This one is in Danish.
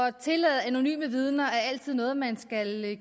at tillade anonyme vidner er altid noget man skal